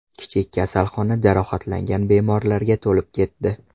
Kichik kasalxona jarohatlangan bemorlarga to‘lib ketdi.